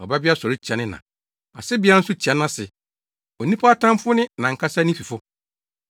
Ɔbabarima twiri nʼagya, Ɔbabea sɔre tia ne na, asebea nso tia nʼase onipa atamfo ne nʼankasa ne fifo.